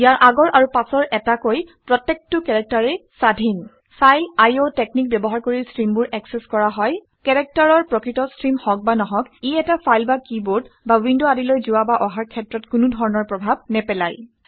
ইয়াৰ আগৰ আৰু পাছৰ এটাকৈ প্ৰত্যেকটো কেৰেক্টাৰেই স্বাধীন ফাইল আইঅ টেকনিক ব্যৱহাৰ কৰি ষ্ট্ৰিমবোৰ একচেচ কৰা হয়। কেৰেক্টাৰৰ প্ৰকৃত ষ্ট্ৰিম হওক বা নহওক ই এটা ফাইল বা কিবৰ্ড বা উইণ্ড আদিলৈ যোৱা বা অহাৰ ক্ষেত্ৰত কোনো ধৰণৰ প্ৰভাৱ নেপেলায়